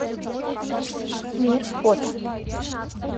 мир фото